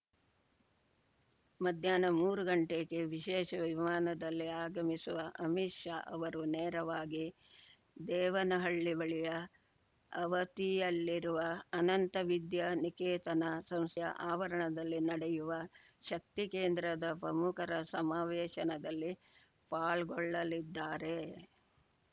ಮಧ್ಯಾಹ್ನ ಮೂರು ಗಂಟೆಗೆ ವಿಶೇಷ ವಿಮಾನದಲ್ಲಿ ಆಗಮಿಸುವ ಅಮಿತ್‌ ಶಾ ಅವರು ನೇರವಾಗಿ ದೇವನಹಳ್ಳಿ ಬಳಿಯ ಆವತಿಯಲ್ಲಿರುವ ಅನಂತ ವಿದ್ಯಾನಿಕೇತನ ಸಂಸ್ಥೆಯ ಆವರಣದಲ್ಲಿ ನಡೆಯುವ ಶಕ್ತಿ ಕೇಂದ್ರದ ಪ್ರಮುಖರ ಸಮಾವೇಶನದಲ್ಲಿ ಪಾಲ್ಗೊಳ್ಳಲಿದ್ದಾರೆ